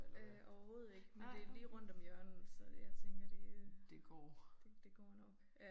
Øh overhovedet ikke men det lige rundt om hjørnet så jeg tænker det øh det det går nok